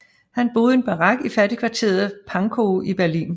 Han boede i en barak i fattigkvarteret Pankow i Berlin